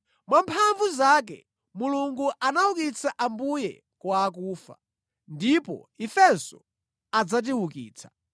Mwamphamvu zake Mulungu anaukitsa Ambuye kwa akufa, ndipo ifenso adzatiukitsa.